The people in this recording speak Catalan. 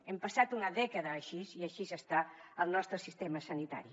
hem passat una dècada així i així està el nostre sistema sanitari